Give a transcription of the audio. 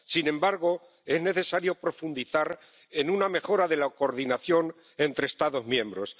Sin embargo, es necesario profundizar en una mejora de la coordinación entre Estados miembros.